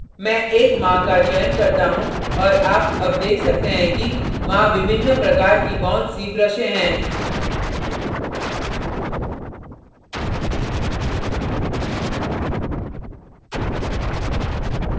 मैं एक माह का चयन करता हूँ और आप अब देख सकते हैं कि वहां विभिन्न प्रकार की बहुत see ब्रशें हैं